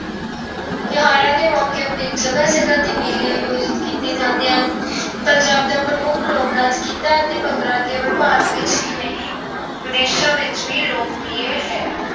ਤਿਉਹਾਰਾਂ ਦੇ ਮੌਕੇ ਉੱਤੇ ਜਗ੍ਹਾ ਜਗ੍ਹਾ ਤੇ ਮੇਲੇ ਆਯੋਜਿਤ ਕੀਤੇ ਜਾਂਦੇ ਹਨ। ਪੰਜਾਬ ਦਾ ਪ੍ਰਮੁੱਖ ਲੋਕ ਨਾਚ ਗਿੱਧਾ ਅਤੇ ਭੰਗੜਾ ਕੇਵਲ ਭਾਰਤ ਵਿੱਚ ਹੀ ਨਹੀਂ ਵਿਦੇਸ਼ਾਂ ਵਿੱਚ ਵੀ ਲੋਕਪ੍ਰਿਯ ਹੈ।